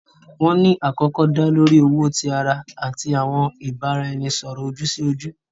Wọn ni akọkọ da lori owo ti ara ati awọn ibaraẹnisọrọ oju-si-oju.